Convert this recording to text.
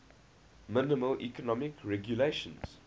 minimal economic regulations